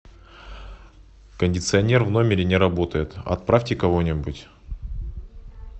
кондиционер в номере не работает отправьте кого нибудь